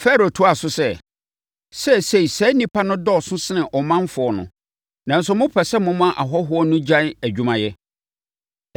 Farao toaa so sɛ, “Seesei, saa nnipa no dɔɔso sene ɔmanfoɔ no, nanso mopɛ sɛ moma ahɔhoɔ no gyae adwumayɛ.”